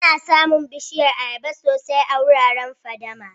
Ana samu Bishiyar ayaba sosai a wuraren fadama.